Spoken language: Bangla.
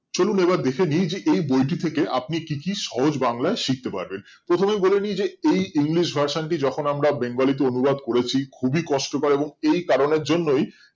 চলুন এবার দেখে নিয়ে যে এই বইটি থেকে আপনি কি কি সহজ বাংলায় শিখতে পারবেন প্রথমেই বলে নিই যে এই english version টি যখন আমরা বাঙ্গালী তে অনুবাদ করেছি খুবই কষ্টকর এবং এই কারণের জন্যই